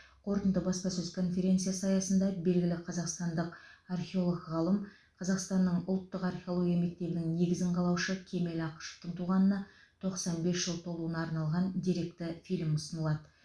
қорытынды баспасөз конференциясы аясында белгілі қазақстандық археолог ғалым қазақстанның ұлттық археология мектебінің негізін қалаушы кемел ақышевтың туғанына тоқсан бес жыл толуына арналған деректі фильм ұсынылады